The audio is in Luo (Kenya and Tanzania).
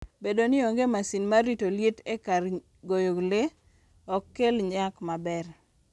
Bedo ni onge masin mar rito liet e kar goyo le, ok kel nyak maber.